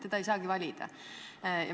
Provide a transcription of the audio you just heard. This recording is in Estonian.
Teda ei saagi valida.